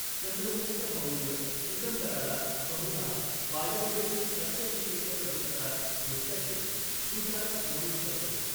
चंद्रगुप्त मौर्य सिकंदराला बहुधा वायव्येतील तक्षशिलेच्या परिसरात भेटल्याचे प्लुटार्क नमूद करतो.